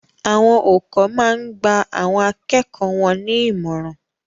Awon oùkọ́ máa n gba àwọn akẹ́kọ̀ọ́ won ní ìmọ̀ràn